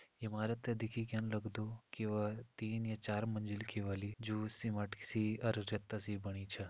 इमारत देखिक यन लगदु की व तीन या चार मंजिल की वली जूं सीमेंट सी अर रेता सी बणी च।